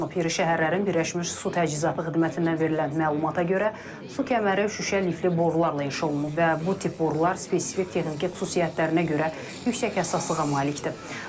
İri şəhərlərin Birləşmiş Su Təchizatı xidmətindən verilən məlumata görə, su kəməri şüşə lifli borularla inşa olunub və bu tip borular spesifik texniki xüsusiyyətlərinə görə yüksək həssaslığa malikdir.